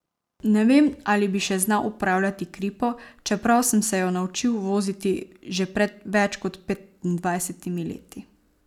Ne vem, ali bi še znal upravljati kripo, čeprav sem se jo naučil voziti že pred več kot petindvajsetimi leti.